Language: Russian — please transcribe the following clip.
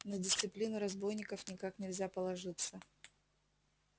на дисциплину разбойников никак нельзя положиться